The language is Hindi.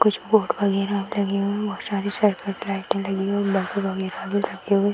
कुछ बोर्ड वगैरा लगे हुए। बहुत सारे लगे हुई। बल्ब वगैरा भी लगे हुए |